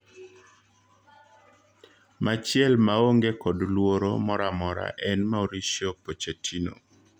Machiel maonge kod luoro moramora en Mauricio Pochettino.